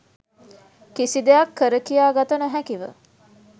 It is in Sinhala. කිසිදෙයක් කරකියා ගත නොහැකිව